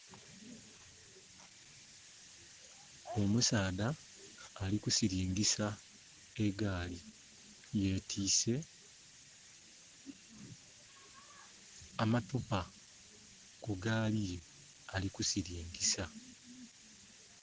Omusaadha ali ku silingisa egaali. Yetiise amatupa ku gaali ye ali ku silingisa.